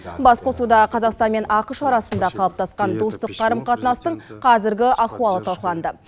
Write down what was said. басқосуда қазақстан мен ақш арасында қалыптасқан достық қарым қатынастың қазіргі ахуалы талқыланды